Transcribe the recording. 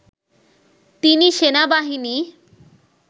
তিনি সেনাবাহিনী